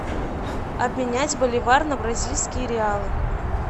обменять боливар на бразильские реалы